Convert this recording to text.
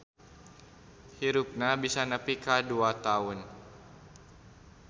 Hirupna bisa nepi ka dua taun.